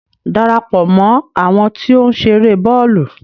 Darapọ̀ mọ àwọn ti o nṣere bọọlu!